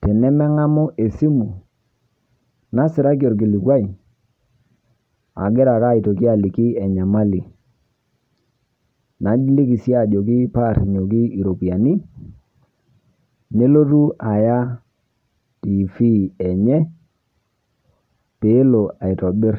.Tene meng'amuu esimu nasiiraki elikilikwai agira ake aitokii alikii enyamali, nalikii sii ajoki paa rinyokii ropiani nelotuu ayaa TV enye pee eloo aitobiir.